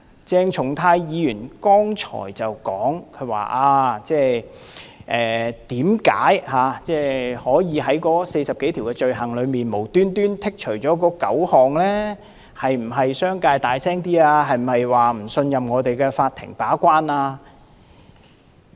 鄭松泰議員剛才說，為甚麼政府無緣無故從46項罪類中剔除9項，是否因為商界聲音大一點，是否不信任我們的法庭把關？